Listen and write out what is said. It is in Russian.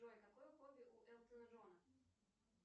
джой какое хобби у элтона джона